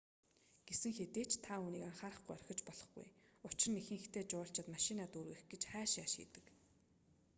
гэсэн хэдий ч та үүнийг анхаарахгүй орхиж болохгүй учир нь ихэнхдээ жуулчид машинаа дүүргэх гэж хайш яйш хийдэг